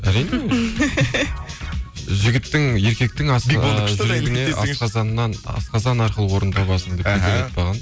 әрине жігіттің еркектің асқазан арқылы орын табасың деп бекер айтпаған